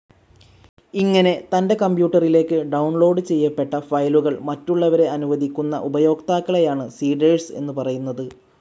ഇങ്ങനെ തൻ്റെ കമ്പ്യൂട്ടറിലേക്ക് ഡൌൺലോഡ്‌ ചെയ്യപ്പെട്ട ഫയലുകൾ മറ്റുള്ളവരെ അനുവദിക്കുന്ന ഉപയോക്താക്കളെയാണ് സെഡാർസ്‌ എന്ന് പറയുന്നത്.